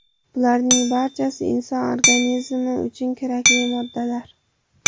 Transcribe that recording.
Bularning barchasi inson organizmi uchun kerakli moddalar.